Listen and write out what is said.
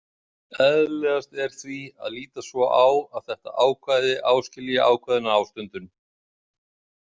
Eðlilegast er því að líta svo á að þetta ákvæði áskilji ákveðna ástundun.